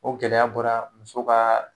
O gɛlɛya bɔra muso ka